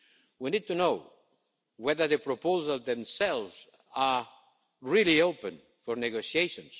We need to know whether the proposals themselves are really open for negotiation.